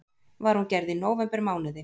Var hún gerð í nóvembermánuði